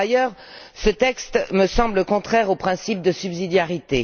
Par ailleurs, ce texte me semble contraire au principe de subsidiarité.